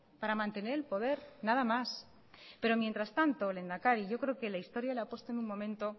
para mantener el poder nada más pero mientras tanto lehendakari yo creo que la historia la ha puesto en un momento